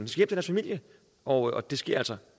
til deres familie og det sker altså